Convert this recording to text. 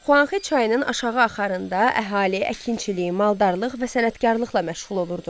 Xuanxe çayının aşağı axarında əhali əkinçilik, maldarlıq və sənətkarlıqla məşğul olurdu.